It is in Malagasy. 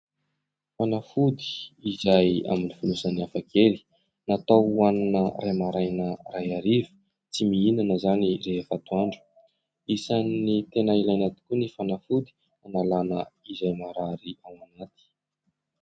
Fanafody izay amin'ny fonosany hafakely. Natao hohanina iray maraina, iray hariva, tsy mihinana izany rehefa atoandro. Isan'ny tena ilaina tokoa ny fanafody hanalana izay marary ao anaty.